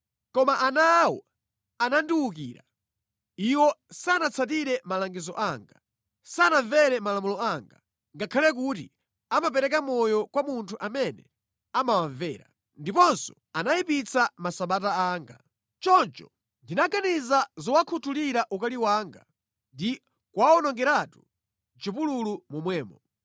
“ ‘Koma ana awo anandiwukira. Iwo sanatsatire malangizo anga, sanamvere malamulo anga, ngakhale kuti amapereka moyo kwa munthu amene amawamvera. Ndiponso anayipitsa Masabata anga. Choncho ndinaganiza zowakhuthulira ukali wanga ndi kuwawonongeratu mʼchipululu momwemo.